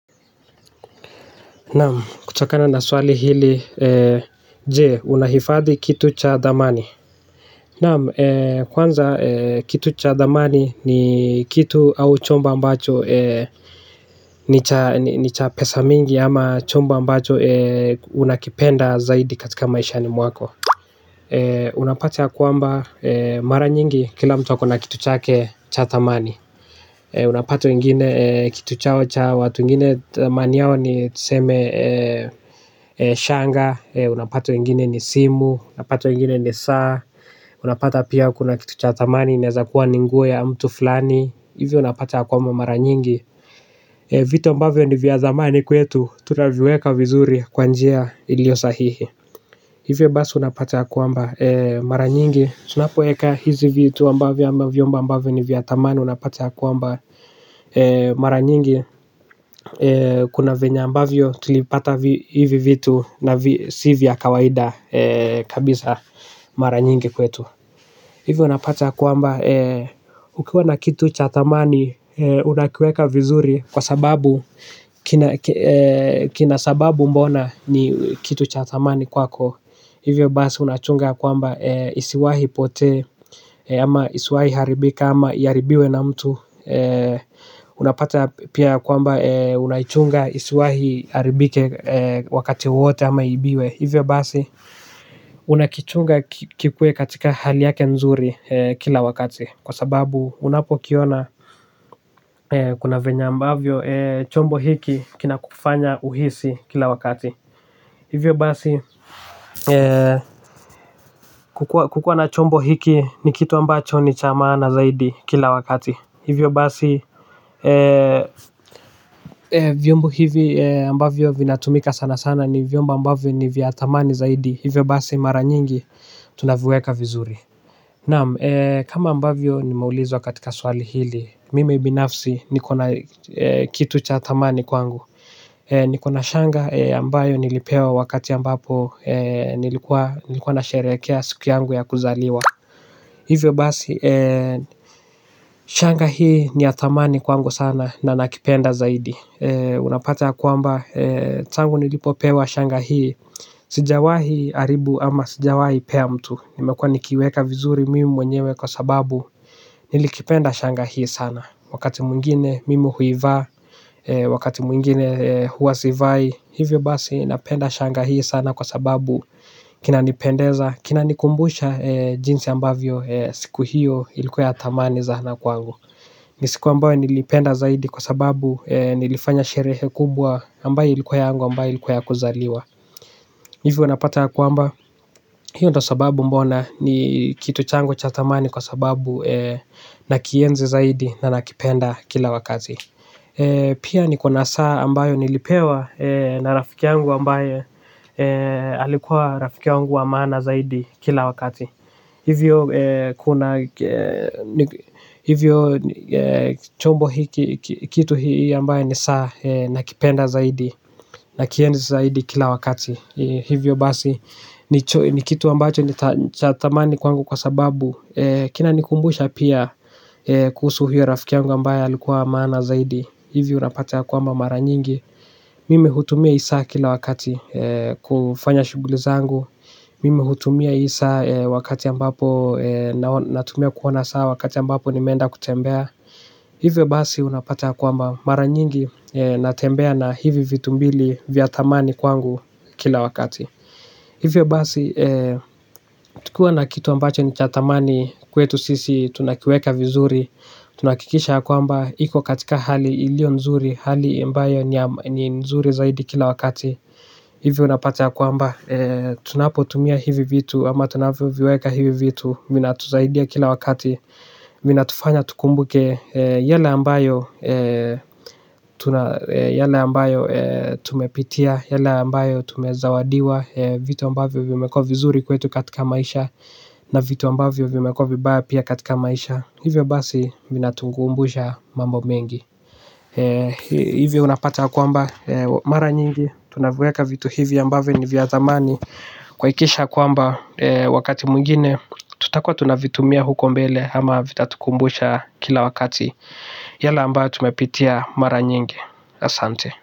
Nam kuchakana na swali hili je unahifadhi kitu cha damani. Nam kwanza kitu cha damani ni kitu au chomba mbacho ni cha pesa mingi ama chomba mbacho unakipenda zaidi katika maisha ni mwako. Unapati ya kuamba mara nyingi kila mtu wakona kitu cha ke cha damani. Unapato ingine kitu chao cha watu ingine thamani yao ni tuseme shanga. Unapata wengine ni simu, unapato ingine ni saa. Unapata pia kuna kitu chao tamani, neza kuwa ninguwo ya mtu flani. Hivyo unapata yakwamba mara nyingi vitu ambavyo ni vya thamani kwetu tunavieka vizuri kwa njia iliyo sahihi hivyo basi unapata ya kwamba mara nyingi tunapoweka hizi vitu ambavyo au vyombo vya thamani unapata kwmba mara nyingi kuna venya ambavyo tulipata hivi vitu na sivya kawaida kabisa mara nyingi kwetu. Hivyo unapatea kuamba ukiwa na kitu cha tamani unakiweka vizuri kwa sababu kina sababu mbona ni kitu cha tamani kwako. Hivyo basi unachunga kwamba isiwahi pote. Ama isiwahi haribika ama yaribiwe na mtu. Unapata pia kwamba unachunga isiwahi haribike wakati wote ama yibiwe. Hivyo basi unakichunga kikue katika hali yake nzuri kila wakati. Kwa sababu unapo kiona kuna venya ambavyo chombo hiki kina kufanya uhisi kila wakati. Hivyo basi kukua na chombo hiki ni kitu ambacho ni chamana zaidi kila wakati. Hivyo basi viombo hivi ambavyo vinatumika sana sana ni viomba ambavyo ni viatamani zaidi. Hivyo basi mara nyingi tunavueka vizuri. Naam kama ambavyo nimeulizwa katika swali hili. Mimi binafsi ni kona kitu cha tamani kwangu. Nikona shanga ambayo nilipewa wakati ambapo nilikuwa nasherekea siku yangu ya kuzaliwa. Hivyo basi shanga hii ni ya tamani kwangu sana na nakipenda zaidi. Unapate ya kuamba tangu nilipopewa shanga hii. Sijawahi aribu ama sijawahi pea mtu. Nimekua nikiweka vizuri mimi mwenyewe kwa sababu nilikipenda shanga hii sana. Wakati mungine mimi huivaa. Wakati mungine huwasivai. Hivyo basi napenda shanga hii sana kwa sababu kina nipendeza. Kina nikumbusha jinsi ambavyo siku hiyo ilikuwa ya tamani zahana kwangu nisiku ambayo nilipenda zaidi kwa sababu nilifanya sherehe kubwa ambaye ilikuwa ya angu ambaye ilikuwa ya kuzaliwa. Hivyo napata ya kuamba hiyo do sababu mbona ni kitu chango cha tamani kwa sababu nakienzi zaidi na nakipenda kila wakazi. Pia ni kuna saa ambayo nilipewa na rafikiangu ambaye alikuwa rafikiangu wa maana zaidi kila wakati. Hivyo chombo kitu hii ambayo ni saa na kipenda zaidi na kienzi zaidi kila wakati. Hivyo basi ni kitu ambacho ni chatamani kwangu kwa sababu kina nikumbusha pia kuhusu huyo rafikiangu ambayo alikuwa maana zaidi hivi unapatea kwamba mara nyingi mimi hutumia isa kila wakati kufanya shugulizangu mimi hutumia isa wakati ambapo natumia kuona saa wakati ambapo ni menda kutembea hivi basi unapatea kuwamba mara nyingi natembea na hivi vitumbili vya tamani kwangu kila wakati hivio basi tukua na kitu ambacho ni chatamani kwetu sisi tunakiweka vizuri tunakikisha kuwamba hiko katika hali ilio nzuri hali ambayo ni nzuri zaidi kila wakati hivi unapate ya kwamba tunapo tumia hivi vitu ama tunavyo viweka hivi vitu minatuzahidia kila wakati minatufanya tukumbuke yale ambayo yale ambayo tumepitia yale ambayo tumezawadiwa vitu ambavyo vimekuwa vizuri kwetu katika maisha na vitu ambavyo vimekuwa vibaya pia katika maisha hivyo basi vinatukumbusha mambo mengi hivi unapata kwamba mara nyingi tunaviweka vitu hivi ambavyo ni vya zamani kuhakikisha kwamba wakati mwengine tutakuwa tunavitumia huko mbele ama vitatukumbusha kila wakati yale ambayo tumepitia mara nyingi asante.